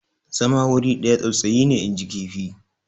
zama wuri ɗaya tsautsayi ne inji kifi